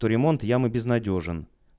то ремонт ямы безнадёжен